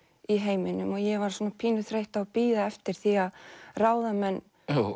í heiminum og ég var svona pínu þreytt að bíða eftir því að ráðamenn